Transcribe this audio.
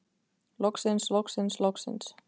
Loksins loksins loksins.